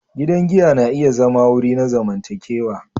Gidan giya na iya zama wuri na zamantakewa.